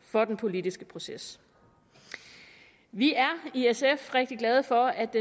for den politiske proces vi er i sf rigtig glade for at